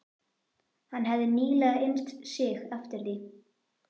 Hann hefði nýlega innt sig eftir því.